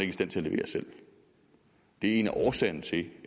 i stand til at levere selv det er en af årsagerne til